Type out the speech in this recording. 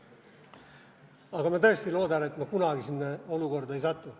Aga ma tõesti loodan, et ma kunagi sinna olukorda ei satu.